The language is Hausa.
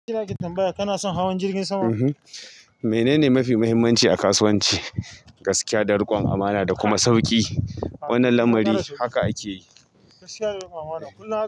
Tanbaya kana son hawan jirgin sama? Menene mafi muhimmanci a kasuwanci gaskiya da riƙon amana da kuma sauƙi. Wannan lamari haka ake yi. Gaskiya da riƙon amana kullum.